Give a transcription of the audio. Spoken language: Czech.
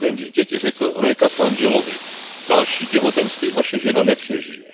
13. dítěti řekl lékař manželovi Další těhotenství vaše žena nepřežije.